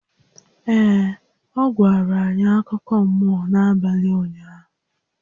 Ee, ọ gwara anyị akụkọ mmụọ n'abalị ụnyaahụ